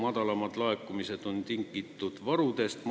See on tingitud kogutud varudest.